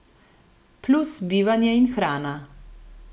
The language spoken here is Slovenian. Plus bivanje in hrana.